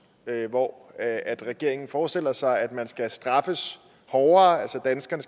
hvor regeringen forestiller sig at man skal straffes hårdere altså at danskerne